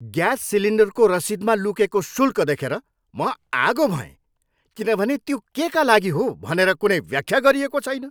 Gas सिलिन्डरको रसिदमा लुकेको शुल्क देखेर म आगो भएँ किनभने त्यो केका लागि हो भनेर कुनै व्याख्या गरिएको छैन।